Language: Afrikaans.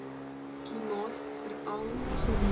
klimaat veral langs